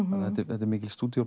þetta er mikil